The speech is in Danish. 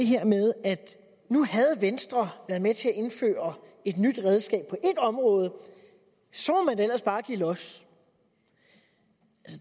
her med at nu havde venstre været med til at indføre et nyt redskab på et område og så må man da ellers bare give los